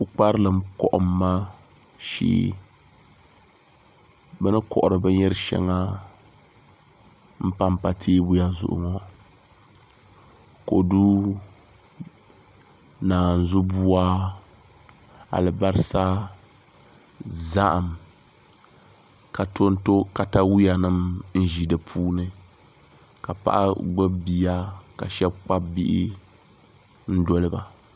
Pukparilim kohamma shee bi ni kohari binyɛri shɛŋa n panpa teebuya zuɣu ŋo kodu naanzu buwa alibarisa zaham ka tonto katawiya nim n ʒi di puuni ka paɣa gbubi bia ka shab kpabi bihi n doliba